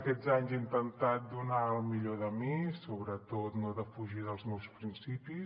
aquests anys he intentat donar el millor de mi i sobretot no defugir dels meus principis